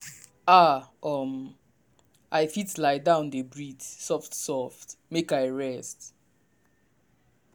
ah um i fit lie down dey breathe soft-soft make i rest.